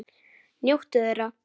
Njóttu þeirra!